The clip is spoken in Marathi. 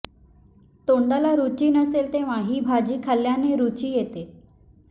तोंडाला रुची नसेल तेव्हा ही भाजी खाल्ल्याने रुची येते